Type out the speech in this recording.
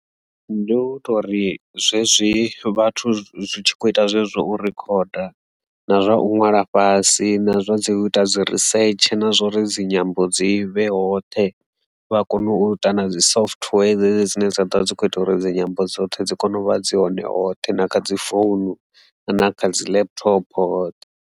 Ndi u to ri zwezwi vhathu zwi tshi kho ita zwezwo u rikhoda, na zwa u ṅwala fhasi na zwa dzi u ita dzi risetshe na zwori dzinyambo dzi vhe hoṱhe vha kone u ita na dzi software dzedzi dzine dza ḓo dzi kho ita uri dzinyambo dzoṱhe dzi kone u vha dzi hone hoṱhe na kha dzi founu na kha dzi laptop hoṱhe.